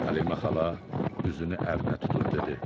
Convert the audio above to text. Həleyimə xala üzünü ərinə tutub dedi: